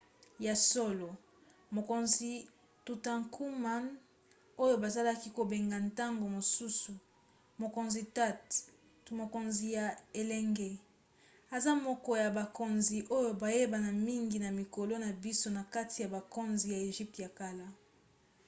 ya solo! mokonzi tutankhamun oyo bazalaki kobenga ntango mosusu mokonzi tut to mokonzi ya elenge aza moko ya bakonzi oyo bayebana mingi na mikolo na biso na kati ya bakonzi ya egypte ya kala